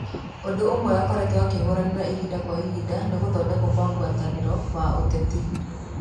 Ũndũ ũmwe akoretwo akĩhũranira ihinda kwa ihinda ni gũthodekwo gwa gũtaranĩrĩo wa ũteti.